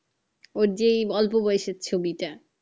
ওর যেই অল্প বয়সের ছবিটা